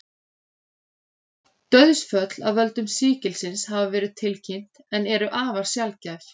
Dauðsföll af völdum sýkilsins hafa verið tilkynnt en eru afar sjaldgæf.